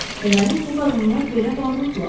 Deməli bu qadınlar belə varlıdılar.